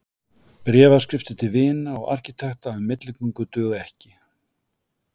Bréfaskriftir til vina og arkitekta um milligöngu duga ekki.